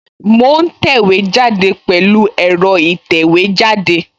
Mo ń tẹ̀wé jáde pẹ̀lú ẹ̀rọ ìtẹ̀wẹ́jáde